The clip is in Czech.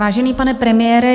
Vážený pane premiére.